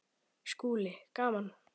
SKÚLI: Gaman!